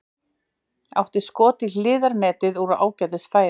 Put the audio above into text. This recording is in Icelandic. Átti skot í hliðarnetið úr ágætis færi.